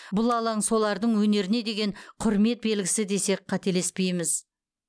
бұл алаң солардың өнеріне деген құрмет белгісі десек қателеспейміз